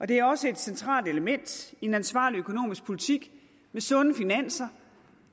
det er også et centralt element i en ansvarlig økonomisk politik med sunde finanser